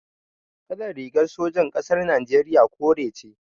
Kalar rigar sojan ƙasar Najeriya kore ce.